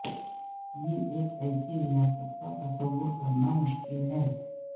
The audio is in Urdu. یہ ایک ایسی ریاست کا تصور کرنا مشکل ہے